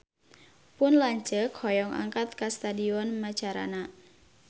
Pun lanceuk hoyong angkat ka Stadion Macarana